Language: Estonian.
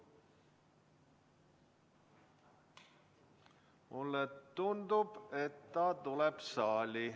Mulle tundub, et ta tuleb saali.